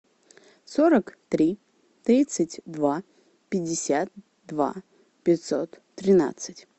сорок три тридцать два пятьдесят два пятьсот тринадцать